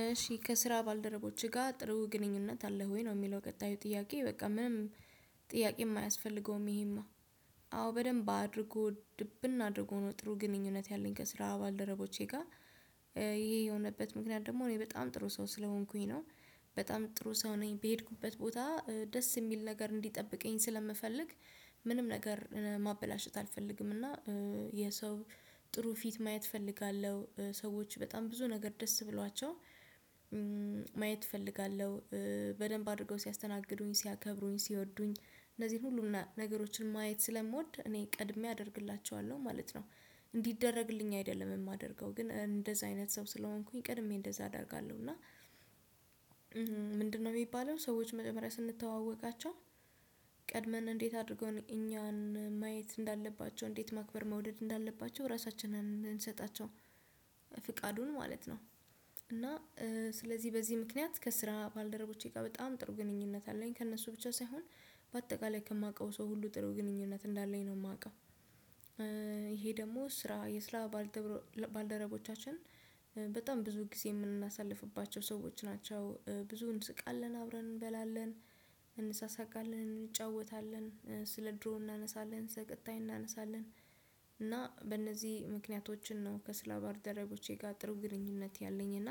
እሺ ከስራ ባልደረቦችህ ጋር ጥሩ ግንኙነት አለህ ወይ ነው? የሚለው ቀጣዩ ጥያቄ በቃ ምንም ጥያቄ የማያስፈልገውም ይሄማ አዎ በደንብ አድርጎ ድብን አድርጎ ነው ጥሩ ግንኙነት ያለኝ ከስራ ባልደረቦቼ ጋር ይሄ የሆነበት ምክንያት ደግሞ እኔ በጣም ጥሩ ሰው ስለሆንኩኝ ነው። በጣም ጥሩ ሰው ነኝ በሄድኩበት ቦታ ደስ የሚል ነገር እንዲጠብቀኝ ስለምፈልግ ምንም ነገር ማበላሸት አልፈልግም። እና የሰው ጥሩ ፊት ማየት እፈልጋለሁ ሰዎች በጣም ብዙ ነገር ደስ ብሏቸው ማየት እፈልጋለሁ። በደንብ አድርገው ሲያስተናግዱኝ ሲያከብሩኝ ሲወዱኝ እነዚህን ሁሉንም ነገሮችን ማየት ስለምወድ እኔ ቀድሜ አደርግላቸዋለሁ ማለት ነው። እንዲደረግልኝ አይደለም የማደርገው ግን እንደዚህ አይነት ሰው ስለሆንኩኝ ቅድሜ እንደዛ አደርጋለሁ እና። ምንድነው የሚባለው ሰዎች መጀመሪያ ስንተዋወቃቸው ቀድመን እንዴት አድርገን እኛን ማየት እንዳለባቸው እንዴት ማክበር መውደድ እንዳለባቸው ራሳችንን እምንሰጣቸው ፍቃዱን ማለት ነው። እና ስለዚህ በዚህ ምክንያት ከስራ ባልደረቦቼ ጋር በጣም ጥሩ ግንኙነት አለኝ ከእነሱ ብቻ ሳይሆን በአጠቃላይ ከማውቀው ሰው ሁሉ ጥሩ ግንኙነት እንዳለኝ ነው የማውቀው። ይሄ ደግሞ ስራ የስራ ባልደረቦቻችን በጣም ብዙ ጊዜ የምናሳልፍባቸው ሰዎች ናቸው ብዙ እንስቃለን አብረን እንበላለን። እንሳሳቃለን እንጫወታለን ስለ ድሮ እናነሳለን ስለ ቀጣይ እናነሳለን እና በእነዚህ ምክንያቶችን ነው ከስራ ባልደረቦቼ ጋር ጥሩ ግንኙነት ያለኝ እና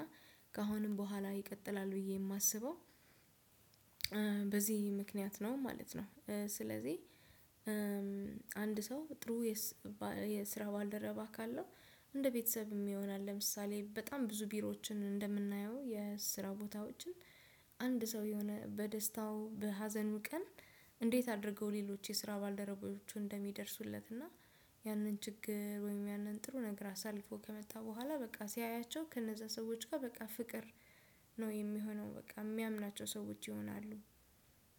ከአሁንም በኋላ ይቀጥላል ብዬ የማስበው። በዚህ ምክንያት ነው ማለት ነው። ስለዚህ አንድ ሰው ጥሩ የስራ ባልደረበ ካለው እንደ ቤተሰብም ይሆናል ለምሳሌ በጣም ብዙ ቢሮዎችን እንደምናየው የስራ ቦታዎችን አንድ ሰው የሆነ በደስታው በሀዘኑ ቀን እንዴት አድርገው ሌሎች የስራ ባልደረቦቹ እንደሚደርሱለት እና ያንን ችግር ወይም ያንን ጥሩ ነገር አሳልፎ ከመጣ በኋላ በቃ ሲያያቸው ከነዛ ሰዎች ጋር በቃ ፍቅር ነው የሚሆነው በቃ የሚያምናቸው ሰዎች ይሆናሉ።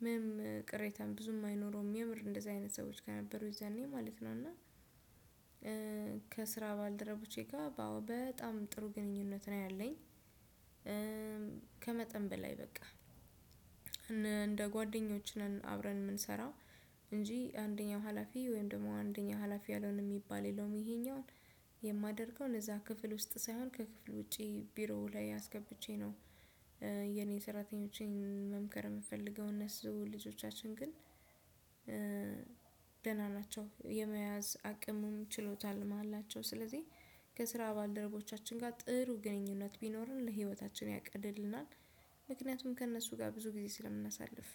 ምንም ቅሬታን ብዙም አይኖረውም የምር እንደዚህ አይነት ሰዎች ከነበሩ የዛኔ ማለት ነው እና። ከስራ ባልደረቦቼ ጋር በጣም ጥሩ ግንኙነት ነው ያለኝ። ከመጠን በላይ በቃ እንደ ጓደኞች ነን አብረን የምንሰራ እንጂ አንደኛው ሀላፊ ወይም ደግሞ አንደኛው ሀላፊ ያልሆነ የሚባል የለውም ይሄኛውን የማደርገው እነዛ ክፍል ውስጥ ሳይሆን ከክፍል ውጪ ቢሮው ላይ አስገብቼ ነው። የኔ ሰራተኞቼን መምከር የምፈልገው እነሱ ልጆቻችን ግን ናቸው የመያዝ አቅሙን ችሎታም አላቸው። ስለዚህ ከስራ ባልደረቦቻችን ጋር ጥሩ ግንኙነት ቢኖረን ለህይወታችን ያቀልልናል። ምክንያቱም ከእነሱ ጋር ብዙ ጊዜ ስለምናሳልፍ